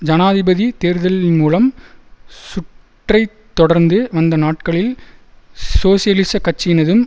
ஜனாதிபதி தேர்தலின் மூலம் சுற்றைத் தொடர்ந்து வந்த நாட்களில் சோசியலிசக் கட்சியினதும்